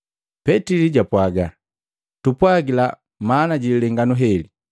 Petili japwaga, “Tupwagila maana jililenganu heli.”